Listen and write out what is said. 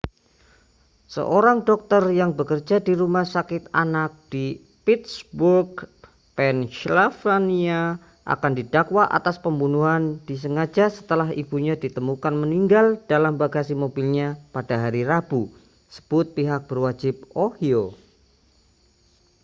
seorang dokter yang bekerja di rumah sakit anak di pittsburgh pennsylvania akan didakwa atas pembunuhan disengaja setelah ibunya ditemukan meninggal dalam bagasi mobilnya pada hari rabu sebut pihak berwajib ohio